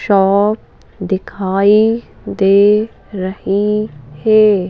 Shop दिखाई दे रही है।